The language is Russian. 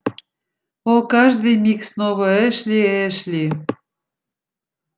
о каждый миг снова эшли эшли